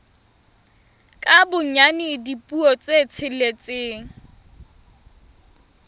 ka bonyane dipuo tse tsheletseng